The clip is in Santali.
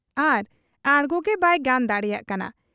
ᱟᱨ ᱟᱬᱜᱚᱜᱮ ᱵᱟᱭ ᱜᱟᱱ ᱫᱟᱲᱮᱭᱟᱜ ᱠᱟᱱᱟ ᱾